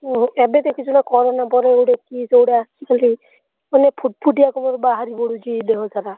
ଓହୋ ଏବେ ଦେଖିଚୁ ନା corona ପରେ ଗୋଟେ କି ସେଗୁଡା ଆସିଛି କେଜାଣି? ମାନେ ଫୁଟଫୁଟିଆ ତମର ବାହାରି ପଡୁଛି ଦେହସାରା।